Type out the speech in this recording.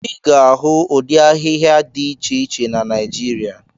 Ị ga-ahụ ụdị ahịhịa dị iche iche na Naijiria.